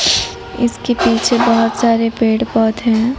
इसके पीछे बहोत सारे पेड़ पौधे हैं।